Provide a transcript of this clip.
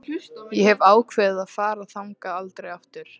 Ég hef ákveðið að fara þangað aldrei aftur.